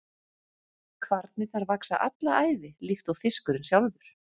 Kvarnirnar vaxa alla ævi líkt og fiskurinn sjálfur.